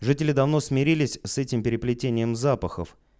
жители давно смирились с этим переплетением запахов